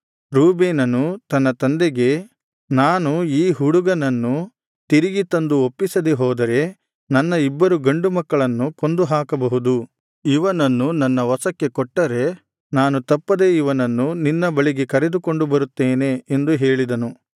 ರೂಬೇನನು ತನ್ನ ತಂದೆಗೆ ನಾನು ಈ ಹುಡುಗನನ್ನು ತಿರುಗಿ ತಂದು ಒಪ್ಪಿಸದೆ ಹೋದರೆ ನನ್ನ ಇಬ್ಬರು ಗಂಡುಮಕ್ಕಳನ್ನು ಕೊಂದು ಹಾಕಬಹುದು ಇವನನ್ನು ನನ್ನ ವಶಕ್ಕೆ ಕೊಟ್ಟರೆ ನಾನು ತಪ್ಪದೆ ಇವನನ್ನು ನಿನ್ನ ಬಳಿಗೆ ಕರೆದುಕೊಂಡು ಬರುತ್ತೇನೆ ಎಂದು ಹೇಳಿದನು